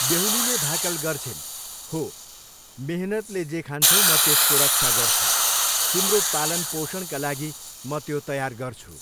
बेहुलीले भाकल गर्छिन्, 'हो, मेहनतले जे खान्छौ, म त्यसको रक्षा गर्छु, तिम्रो पालनपोषणका लागि म त्यो तयार गर्छु।'